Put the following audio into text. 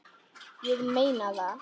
Ég meina það!